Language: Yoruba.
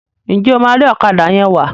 njé o ma ri Ọ̀kadà yén wá?